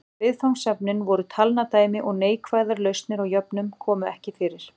Viðfangsefnin voru talnadæmi og neikvæðar lausnir á jöfnum komu ekki fyrir.